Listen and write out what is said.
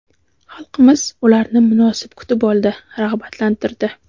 Xalqimiz ularni munosib kutib oldi, rag‘batlantirdi.